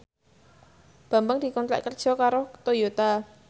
Bambang dikontrak kerja karo Toyota